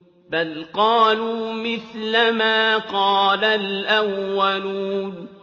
بَلْ قَالُوا مِثْلَ مَا قَالَ الْأَوَّلُونَ